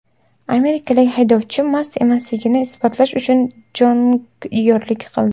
Amerikalik haydovchi mast emasligini isbotlash uchun jonglyorlik qildi .